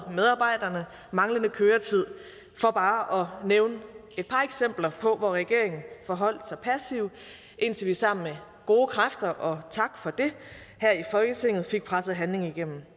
manglende køretid for bare at nævne et par eksempler hvor regeringen forholdt sig passivt indtil vi sammen med gode kræfter og tak for det her i folketinget fik presset handling igennem det